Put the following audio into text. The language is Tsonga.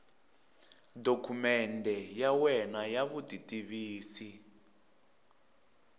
dokumende ya wena ya vutitivisi